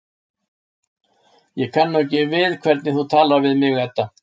Ég kann nú ekki við hvernig þú talar við mig, Edda.